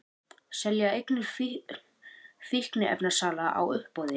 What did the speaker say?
Selja eignir fíkniefnasala á uppboði